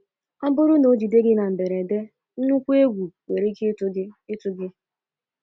Ọ bụrụ na o jide gị na mberede, nnukwu egwu nwere ike ịtụ gị ịtụ gị.